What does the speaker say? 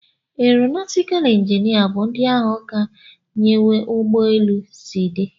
Aeronautical injinia bu ndi ahu ka nyewe ugbọ elu si di